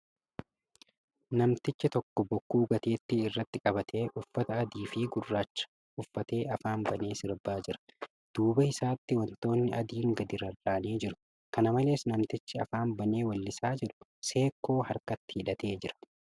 Namtichi tokko bokkuu gateetti irratti qabatee uffata adii fi gurraacha uffatee afaan banee sirbaa jira. Duuba isaatti wantoonni adiin gadi rarra'anii jiru. Kana malees, namtichi afaan banee weellisaa jiru seekkoo harkatti hidhatee jira.